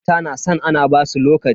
Mata na san ana basu lokaci.